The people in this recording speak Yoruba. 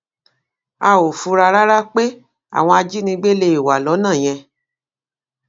a ò fura rárá pé àwọn ajínigbé lè wà lọnà yẹn